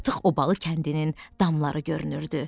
Artıq Obalı kəndinin damları görünürdü.